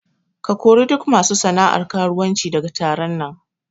Ka kori duk masu sana'ar karuwanci daga taron nan!